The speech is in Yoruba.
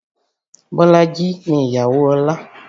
Bolaji ni ìyàwó Ọlá